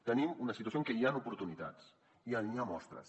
tenim una situació en què hi han oportunitats i n’hi ha mostres